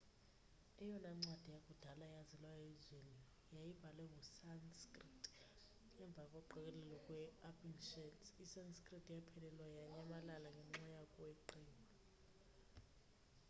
eyona ncwadi yakudala eyaziwayo elizweni yayibhalwe nge-sanskrit emva koqokelelo kwe-upinshads i-sanskrit yaphelelwa yanyamalala ngenxa yokweqiwa